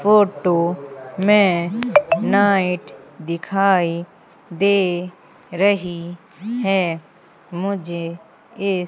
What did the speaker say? photo में night दिखाई दे रही है मुझे इस--